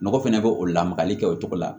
Mɔgɔ fɛnɛ bɛ o lamagali kɛ o cogo la